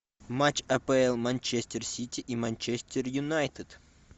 матч апл манчестер сити и манчестер юнайтед